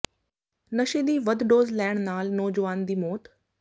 ਨਸ਼ੇ ਦੀ ਵੱਧ ਡੋਜ਼ ਲੈਣ ਨਾਲ ਨੌਜਵਾਨ ਦੀ ਮੌਤ